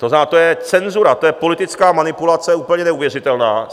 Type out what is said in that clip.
To znamená, to je cenzura, to je politická manipulace úplně neuvěřitelná.